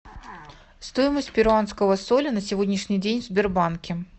стоимость перуанского соля на сегодняшний день в сбербанке